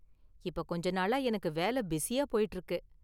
இப்ப கொஞ்ச நாளா எனக்கு வேலை பிஸியா போய்ட்டு இருக்கு.